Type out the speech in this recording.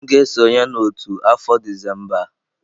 M ga-esonye n'otu afọ Disemba a.